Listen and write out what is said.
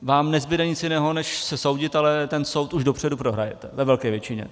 Vám nezbude nic jiného než se soudit, ale ten soud už dopředu prohrajete ve velké většině.